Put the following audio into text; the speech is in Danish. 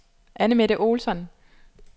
Anne-Mette Olsson